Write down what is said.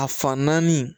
A fan naani